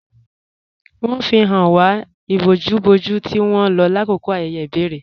Wọn fi háń wà íbòjú-bòjú tí wọn lọ lákọkọ ayéyé ibèrè.